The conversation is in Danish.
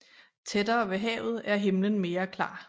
Tættere ved havet er himlen mere klar